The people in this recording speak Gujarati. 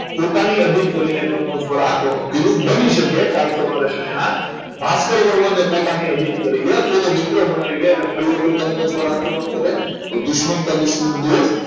પોતાને અધિન કરીને કનોજ દ્વારા આક્રમણ કર્યું બની શકે સસંગ ભાસ્કર વર્મા ને પોતાની અભિને કરી લે તો તો મિત્ર બનાવી લે અને પરિવર્તન તનોજ પર આક્રમણ કરે તો દુશ્મન કા દુશ્મન દો